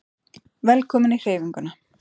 Velkomin í Hreyfinguna